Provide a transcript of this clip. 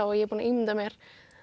og ég er búin að ímynda mér